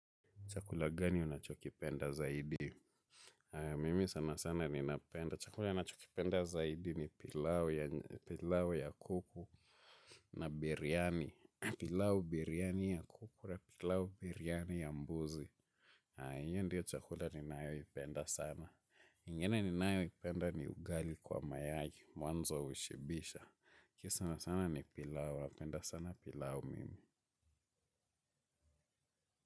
Chakula gani unachokipenda zaidi? Mimi sana sana ni napenda. Chakula nachokipenda zaidi ni pilau ya kuku na biryani. Pilau biryani ya kuku na pilau biryani ya mbuzi. Hiyo ndiyo chakula ninayo ipenda sana. Ingine ni nayo ipenda ni ugali kwa mayai. Mwanzo hushibisha. Kisana sana ni pilau. Napenda sana pilao mimi.